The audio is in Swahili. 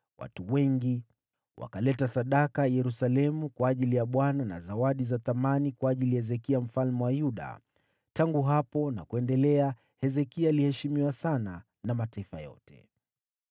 Watu wengi wakaleta sadaka Yerusalemu kwa ajili ya Bwana na zawadi za thamani kwa ajili ya Hezekia mfalme wa Yuda. Tangu hapo na kuendelea, Hezekia aliheshimiwa sana na mataifa yote.